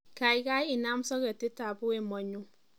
Kaikai inam soketitab wemo nyu